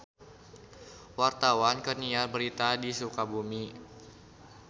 Wartawan keur nyiar berita di Sukabumi